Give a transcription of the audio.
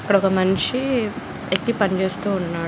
ఇక్కడొక మనిషి ఎక్కి పని చేస్తూ ఉన్నాడు.